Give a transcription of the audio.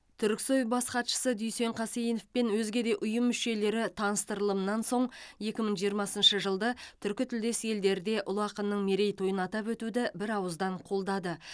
түрксой бас хатшысы дүйсен қасейінов пен өзге де ұйым мүшелері таныстырылымнан соң екі мың жиырмасыншы жылды түркі тілдес елдерде ұлы ақынның мерейтойын атап өтуді бір ауыздан қолдады